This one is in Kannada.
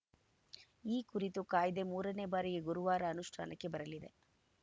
ಈ ಕುರಿತ ಕಾಯ್ದೆ ಮೂರನೇ ಬಾರಿಗೆ ಗುರುವಾರ ಅನುಷ್ಠಾನಕ್ಕೆ ಬರಲಿದೆ